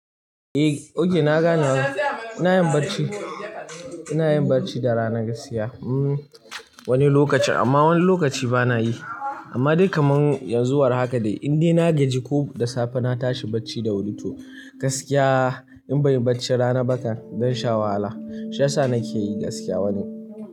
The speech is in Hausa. Eh, okay na gane. Ina yin bacci, ina yin bacci da rana gaskiya. Hmm wani lokaci amma wani lokaci bana yi. Amma dai kamar yanzu war haka dai indai na gaji ko da safe na tashi bacci da wuri toh. Gaskiya in banyi bacci rana bah kan zan sha wahala. Shi yasa nake yi gaskiya wani.